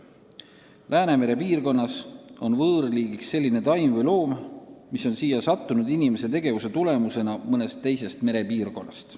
Läänemere piirkonnas on võõrliigiks selline taim või loom, mis on siia sattunud inimese tegevuse tõttu mõnest teisest merepiirkonnast.